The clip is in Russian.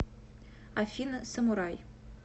афина самурай